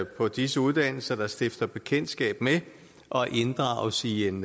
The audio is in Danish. på disse uddannelser der stifter bekendtskab med og inddrages i en